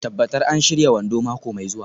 Tabbatar an shirya wando mako mai zuwa.